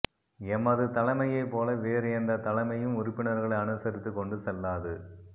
எமது தலைமையைப் போல வேறு எந்தத் தலைமையும் உறுப்பினர்களை அனுசரித்துக் கொண்டு செல்லாது